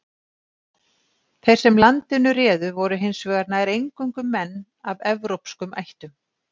Þeir sem landinu réðu voru hins vegar nær eingöngu menn af evrópskum ættum.